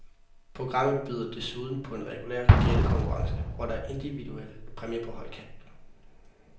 Programmet byder desuden på en regulær gættekonkurrence, hvor der er individuelle præmier på højkant.